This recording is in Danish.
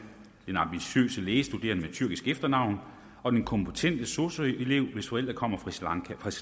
den ambitiøse lægestuderende med tyrkisk efternavn og den kompetente sosu elev hvis forældre kommer fra sri